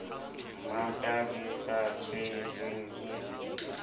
mmata le sa tshelweng ke